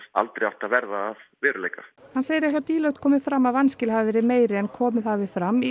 aldrei átt að verða að veruleika hann segir að hjá Deloitte komi fram að vanskil hafi verið meiri en komið hafi fram í